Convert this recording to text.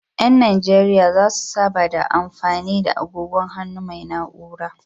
Ƴan najeriya zasu saba da mafani da agogon hannu mai na'ura.